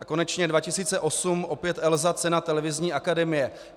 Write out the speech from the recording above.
A konečně 2008 - opět ELSA, cena Televizní akademie.